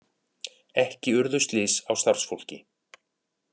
Ekki urðu slys á starfsfólki